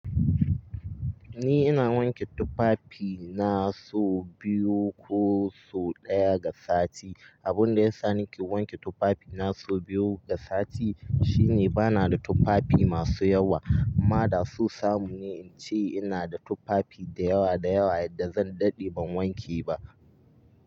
Ni ina wanke tufafi na sau biyu ko sau ɗaya ga sati. Abun da ya sa nake wanke tufafi na sau biyu ga sati shine bana da tufafi masu yawa. Amma da son samu ne in ce ina da tufafi da yawa da yawa yadda zan daɗe ban wanke ba.